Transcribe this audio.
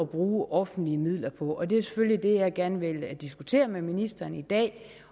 bruge offentlige midler på og det er selvfølgelig det jeg gerne vil diskutere med ministeren i dag